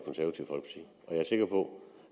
af er sikker på